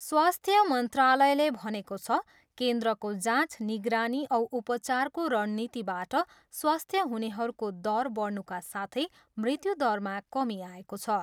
स्वास्थ्य मन्त्रालयले भनेको छ, केन्द्रको जाँच, निगरानी औ उपचारको रणनीतिबाट स्वास्थ्य हुनेहरूको दर बढ्नुका साथै मृत्यु दरमा कमी आएको छ।